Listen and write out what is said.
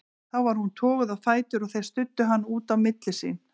Þá var hún toguð á fætur og þeir studdu hana út á milli sín.